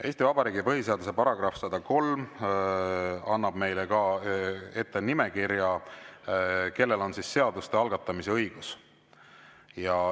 Eesti Vabariigi põhiseaduse § 103 annab ka meile ette nimekirja, kellel on seaduste algatamise õigus.